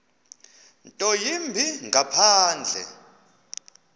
nto yimbi ngaphandle